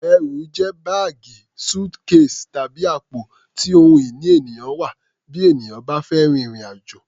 Ẹrù jẹ́ báàgì, suitcase, tàbí àpò tí ohun ìní ènìyàn wà bí ènìyàn bá fẹ́ rin ìrìn-àjò.